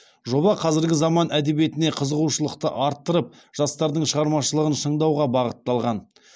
жоба қазіргі заман әдебиетіне қызығушылықты арттырып жастардың шығармашылығын шыңдауға бағытталған